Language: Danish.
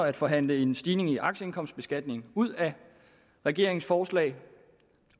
at forhandle en stigning i aktieindkomstbeskatningen ud af regeringens forslag